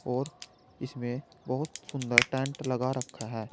और इसमें बहुत सुंदर टेंट लगा रखा है।